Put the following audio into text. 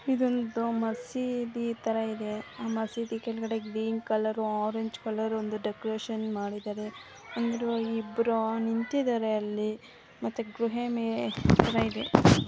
ಇದೊಂದು ಮಸೀದಿ ತರ ಇದೆ ಆ ಮಸೀದಿ ಕೆಳಗಡೆ ಗ್ರೀನ್ ಕಲರ್ ಆರೆಂಜ್ ಕಲರ್ ಒಂದು ಡೆಕೊರೇಷನ್ ಮಾಡಿದ್ದಾರೆ. ಅಂದರು ಇಬ್ಬರು ನಿಂತಿದ್ದಾರೆ ಅಲ್ಲಿ ಮತ್ತೆ ಗುಹೆ ತರ ಇದೆ.